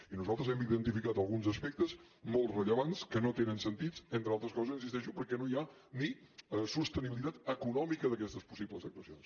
i nosaltres hem identificat alguns aspectes molt rellevants que no tenen sentit entre altres coses hi insisteixo perquè no hi ha ni sostenibilitat econòmica d’aquestes possibles actuacions